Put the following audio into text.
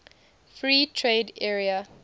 free trade area